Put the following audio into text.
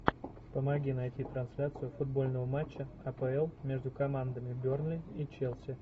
помоги найти трансляцию футбольного матча апл между командами бернли и челси